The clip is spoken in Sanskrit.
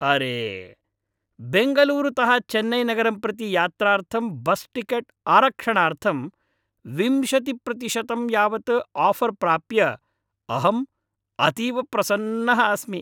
अरे, बेङ्गलूरुतः चेन्नैनगरं प्रति यात्रार्थं बस्टिकेट् आरक्षणार्थं विंशतिप्रतिशतं यावत् आफ़र् प्राप्य अहं अतीव प्रसन्नः अस्मि।